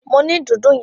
Mo ni dùndún yẹn.